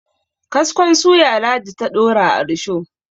kaskon suya ladi ta Dora a rusho